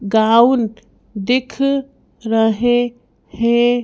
Gown दिख रहे हैं।